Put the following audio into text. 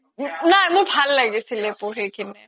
নাই মোৰ ভাল লাগিছিলে পঢ়ি